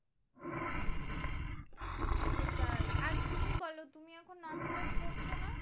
সেটাই আর তুমি বোলো তুমি এখন নাচ টাচ করছো না?